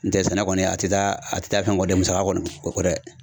N tɛ sɛnɛ kɔni a tɛ taa a tɛ taa fɛn kɔ dɛ musaka kɔni o kɔ dɛ